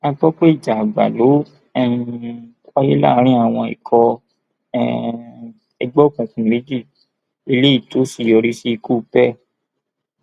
a gbọ pé ìjà àgbà ló um wáyé láàrin àwọn ikọ um ẹgbẹ òkùnkùn méjì eléyìí tó sì yọrí sí ikú pearl